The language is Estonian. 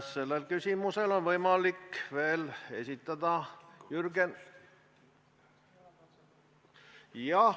Sellel teemal on võimalik veel esitada ...